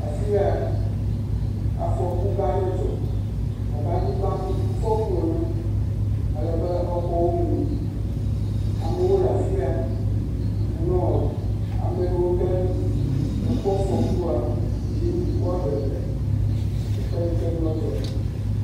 Afi ya, afɔku gã aɖe dzɔ abe anyigba ŋuŋu fɔku ene, alebe exɔwo mu, amewo le afi ya nɔ ame yiwo ke kpɔ afɔkua dim woaɖe le teƒe yike nua dzɔ le.